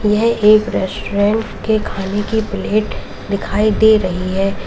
यह एक रेस्टोरेंट के खाने की प्लेट दिखाई दे रही है।